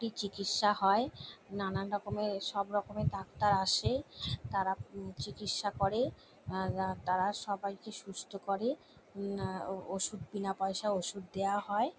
কী চিকিৎসা হয় নানান রকমের সবরকমের ডাক্তার আসে। তারা চিকিৎসা করে। উম তারা সবাইকে সুস্থ করে উম আ ও ওষুধ বিনা পয়শায় ওষুধ দেওয়া হয়।